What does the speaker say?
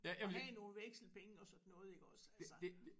Og have nogle vekselpenge og sådan noget iggås altså